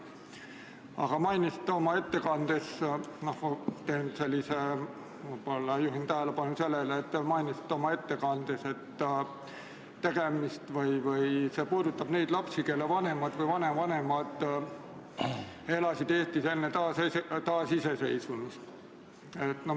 Aga ma võib-olla juhin tähelepanu sellele, et te mainisite oma ettekandes, et see puudutab neid lapsi, kelle vanemad või vanavanemad elasid Eestis enne taasiseseisvumist.